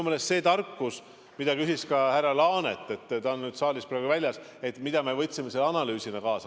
Selle tarkuse kohta küsis ka härra Laanet , et mida me võtsime analüüsina kaasa.